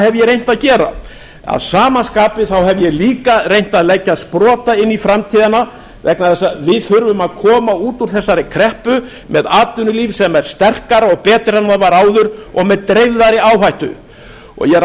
ég reynt að gera að sama skapi hef ég líka reynt að leggja sprota inn í framtíðina vegna þess að við þurfum að koma út úr þessari kreppu með atvinnulíf sem er sterkara og betra en það var áður og með dreifðari áhættu ég er